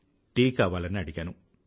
tea కావాలని అడిగాను